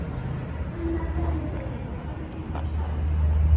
Sunna Sæmundsdóttir: Hvað finnst ykkur um skák?